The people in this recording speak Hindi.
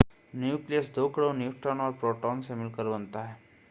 न्यूक्लियस दो कणों न्यूट्रॉन और प्रोटॉन से मिलकर बनता है